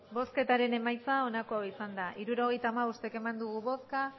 hirurogeita hamabost eman dugu bozka